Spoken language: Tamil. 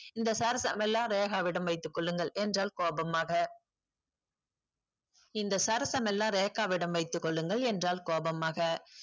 இந்த சர்சமெல்லாம் ரேக்கவிடம் வைத்துக்கொள்ளுங்கள் என்றால் கோபமாக இந்த சர்சமெல்லாம் ரேக்காவிடம் வைத்துக்கொள்ளுங்கள் என்றால் கோபமாக